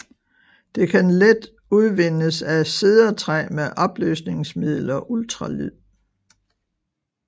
Det kan let udvindes af cedertræ med opløsningsmiddel og ultralyd